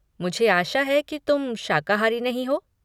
मुझे आशा है कि तुम शाकाहारी नहीं हो।